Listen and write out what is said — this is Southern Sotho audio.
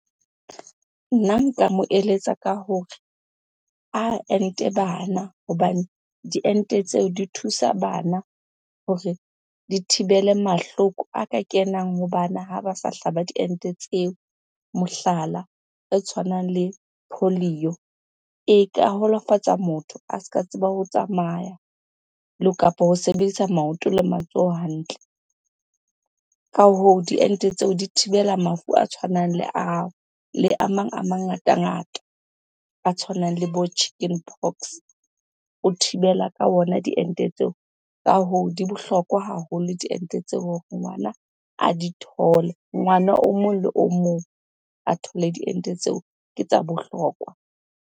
Nna nka mo eletsa ka hore a ente bana hobane diente tseo di thusa bana hore di thibele mahloko a ka kenang ha bana ha ba sa hlaba diente tseo. Mohlala e tshwanang le e ka holofatsa motho a se ka tseba ho tsamaya kapo ho sebedisa maoto le matsoho hantle. Ka hoo, diente tseo di thibela mafu a tshwanang le ao le a mang a mangatangata a tshwanang le bo chicken pox, o thibela ka ona diente tseo. Ka hoo di bohlokwa haholo diente tseo hore ngwana a di thole. Ngwana o mong le o mong a thole diente tseo ke tsa bohlokwa.